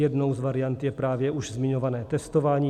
Jednou z variant je právě už zmiňované testování.